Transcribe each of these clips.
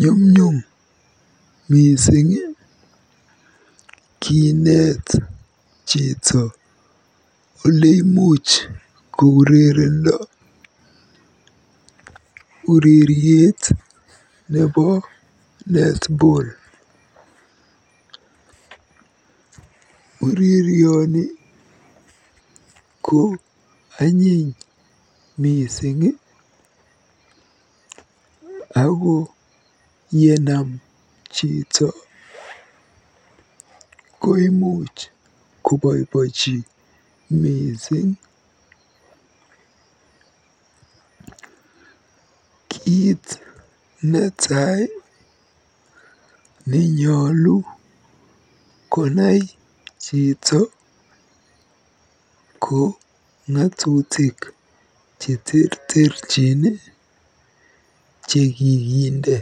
Nyumnyum mising kineet chito oleimuch kourerendo ureriet nebo netball. Urerioni ko anyiny mising ako yenam chito koimuch kobobochi mising. Kiit netai nenyolu konai chito ko ng'atutik cheterterchin chekikinde.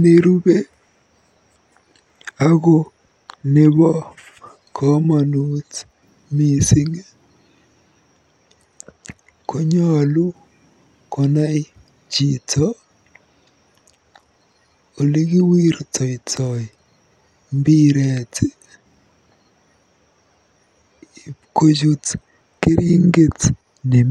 Nerube ako nebo komonut mising konyolu konai chito olekiwirtoitoi mbiret ipkochut keringet nemi.